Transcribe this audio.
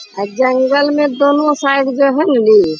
अ जंगल में दोनों साइड जो है न इ --